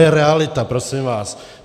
To je realita, prosím vás.